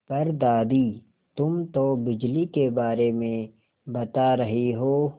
पर दादी तुम तो बिजली के बारे में बता रही हो